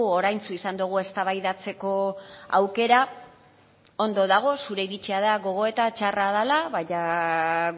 oraintsu izan dugu eztabaidatzeko aukera ondo dago zure iritzia da gogoeta txarra dela baina